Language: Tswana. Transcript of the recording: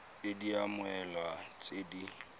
id ya mmoelwa tse di